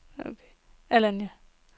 Alanya